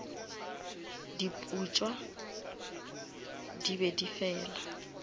diputswa di be di fela